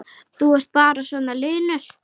Þú ert bara svona linur!